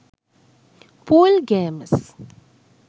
pool gemes